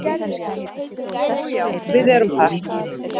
Og já, við erum par